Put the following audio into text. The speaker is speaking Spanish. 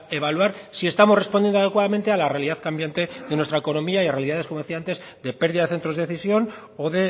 evaluar si estamos respondiendo adecuadamente a la realidad cambiante de nuestra economía y a realidades como decía antes de pérdida de centros de decisión o